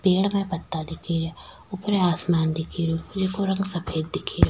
पेड़ में पत्ता दिख रिया ऊपर आसमान दिख रो जैको रंग सफेद दिख रो।